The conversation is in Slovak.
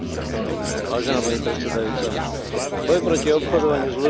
Boj proti obchodovaniu s ľuďmi musí byť prioritou našej spoločnosti.